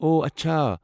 اوہ ،اچھا۔